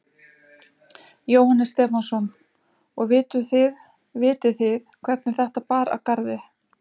Jóhannes Stefánsson: Og vituð þið, vitið þið hvernig þetta bar að garði?